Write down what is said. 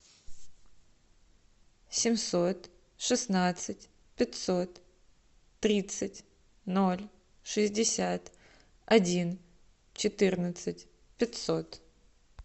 семьсот шестнадцать пятьсот тридцать ноль шестьдесят один четырнадцать пятьсот